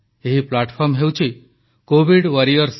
ଏହି ପ୍ଲାଟଫର୍ମ ହେଉଛି covidwarriorsgovin